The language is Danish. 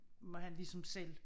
Må han ligesom selv